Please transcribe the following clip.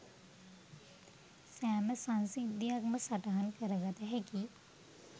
සෑම සංසිද්ධියක්ම සටහන් කර ගත හැකි